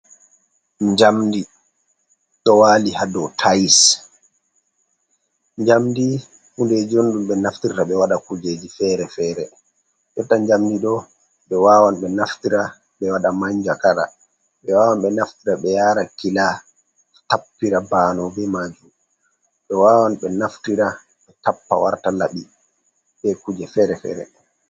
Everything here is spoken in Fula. Njamdi ɗo waali haa dow tayis. Njamdi hundeji on ɗum ɓe naftirta ɓe waɗa kuujeji feere-feere. Jotta njamdi ɗo, ɓe wawan ɓe naftira ɓe waɗa manjakara, ɓe wawan ɓe naftira ɓe yaara kila tappira baanow be maajum. Ɓe wawan ɓe naftira ɓe tappa warta laɓi, be kuuje feere-feere.